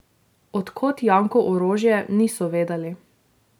Od kod Janku orožje, niso vedeli.